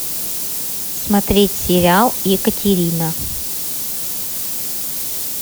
смотреть сериал екатерина